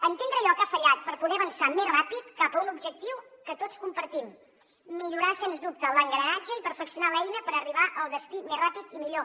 entendre allò que ha fallat per poder avançar més ràpid cap a un objectiu que tots compartim millorar sens dubte l’engranatge i perfeccionar l’eina per arribar al destí més ràpid i millor